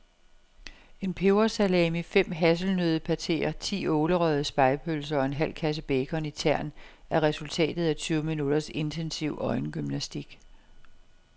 En pebersalami, fem hasselnøddepateer, ti ålerøgede spegepølser og en halv kasse bacon i tern er resultatet af tyve minutters intensiv øjengymnastik.